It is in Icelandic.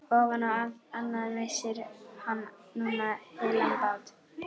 Ofan á allt annað missir hann núna heilan bát.